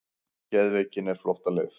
Geðveikin er flóttaleið.